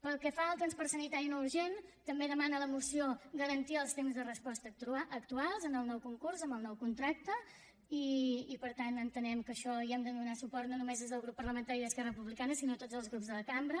pel que fa al transport sanitari no urgent també demana la moció garantir els temps de resposta actuals en el nou concurs amb el nou contracte i per tant entenem que a això hi hem de donar suport no només des del grup parlamentari d’esquerra republicana sinó tots els grups de la cambra